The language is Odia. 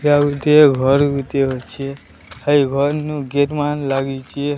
ଏଠି ଆଉ ଗୋଟିଏ ଘର ଗୁଟିଏ ଅଛି ଆଉ ଘର ନୁ ଗେଟ ମାନ ଲାଗିଚି।